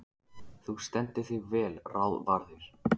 Þú stendur þig vel, Ráðvarður!